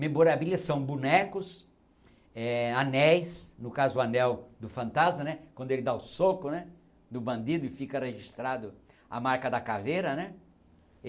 Memorabilia são bonecos, eh anéis, no caso o anel do fantasma né, quando ele dá o soco né no bandido e fica registrado a marca da caveira né.